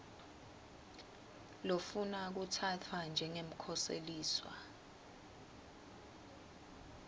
lofuna kutsatfwa njengemkhoseliswa